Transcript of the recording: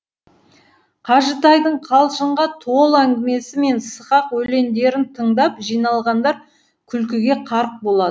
қажытайдың қалжыңға толы әңгімесі мен сықақ өлендерін тыңдап жиналғандар күлкіге қарық болады